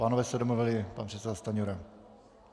Pánové se domluvili - pan předseda Stanjura.